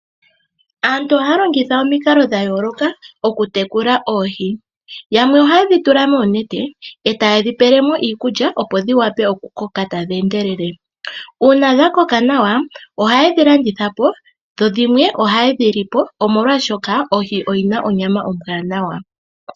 Aantu ohaya longitha omikalo dha yooloka oku tekula oohi. Yamwe ohayedhi tula moonete eta ye dhi pele mo iikulya opo dhi vule oku koka adhi endelele. Uuna dha koka nawa ohayedhi landitha po dho dhimwe ohaye dhi lipo molwaashoka ohi oyina onyama ombwanawa.